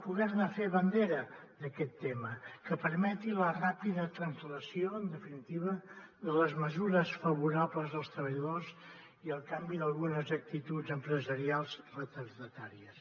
poder ne fer bandera d’aquest tema que permeti la ràpida translació en definitiva de les mesures favorables als treballadors i el canvi d’algunes actituds empresarials retardatàries